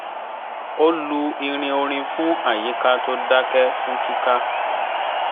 ó lu irin orin fún àyíká tó dakẹ́ fún kika